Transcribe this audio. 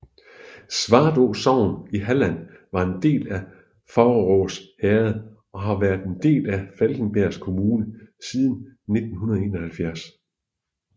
Svartrå sogn i Halland var en del af Faurås herred og har været en del af Falkenbergs kommun siden 1971